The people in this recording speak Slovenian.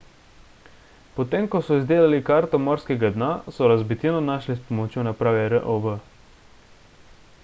potem ko so izdelali karto morskega dna so razbitino našli s pomočjo naprave rov